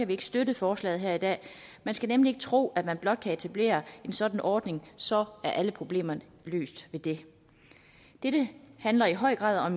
vi ikke støtte forslaget her i dag man skal nemlig ikke tro at man blot kan etablere en sådan ordning så er alle problemerne løst med det dette handler i høj grad om